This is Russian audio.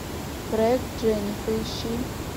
проект дженни поищи